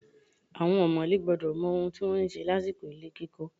Àwọn ọ̀mọ̀lé gbọ́dọ̀ mọ ohun tí wọ́n ń ṣe lásìkò ilé kíkọ